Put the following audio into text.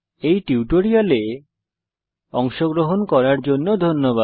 এই টিউটোরিয়ালে অংশগ্রহন করার জন্য ধন্যবাদ